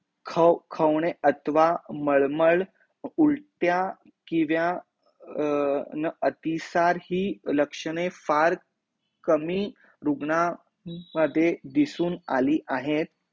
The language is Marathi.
खो खो ने अथवा मळमळ उलट्या किंवा अर न अतिसार हि लक्षणे फार कमी रुग्णां मध्ये दिसून आली आहेत